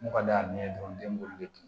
N'u ka da ye dɔrɔn den b'olu de dun